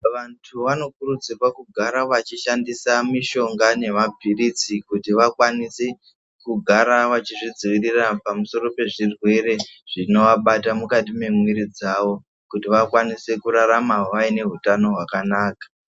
Vantu vanokurudzirwa kugara vachishandisa mishonga nemapirizi. Kuti vakwanise kugara vachizvidziirira pamusoro pezvirwere zvinovabata mukati mwemwiri dzawo. Kuti vakwanise kurarama vaine utano hwakanaka.